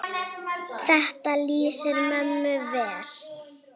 Þetta lýsir mömmu vel.